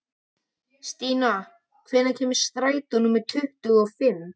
Stína, hvenær kemur strætó númer tuttugu og fimm?